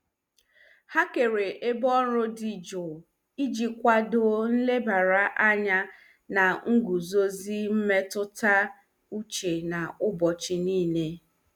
Ha kere ebe ọrụ dị jụụ iji kwado nlebara anya na nguzozi mmetụta uche n'ụbọchị niile.